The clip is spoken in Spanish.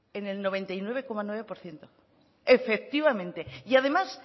en el noventa y nueve coma nueve por ciento efectivamente y además